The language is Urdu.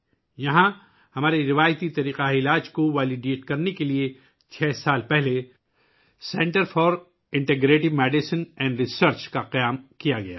یہاں، ہمارے روایتی طبی طریقوں کو درست کرنے کے لیے چھ سال قبل integrative medicine and research centre قائم کیا گیا تھا